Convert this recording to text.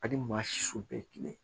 Ani maa si su bɛɛ ye kelen ye